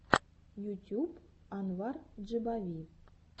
ютюб анвар джибави